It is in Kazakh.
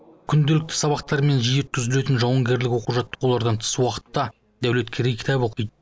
күнделікті сабақтар мен жиі өткізілетін жауынгерлік оқу жаттығулардан тыс уақытта дәулеткерей кітап оқиды